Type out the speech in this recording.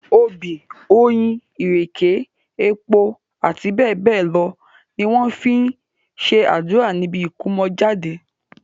Obì, oyin, ìrèké, epo, àti bẹ́ẹ̀ bẹ́ẹ̀ lọ ni wọ́n fi ń ṣe àdúrà níbi ìkómọjáde.